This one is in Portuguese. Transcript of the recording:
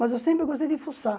Mas eu sempre gostei de fuçar.